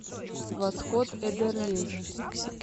восход эдерлези